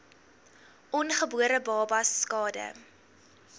ongebore babas skade